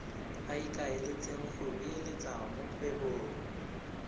ikaeletseng go beeletsa mo kgwebong